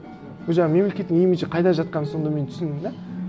ол жағы мемлекеттің имиджі қайда жатқанын сонда мен түсіндім де